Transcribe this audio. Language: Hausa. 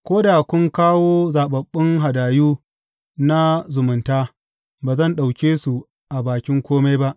Ko da kun kawo zaɓaɓɓun hadayu na zumunta, ba zan ɗauke su a bakin kome ba.